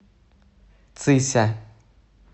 цися